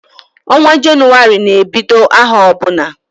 Onwa Jenụwarị na ebiod aho obuna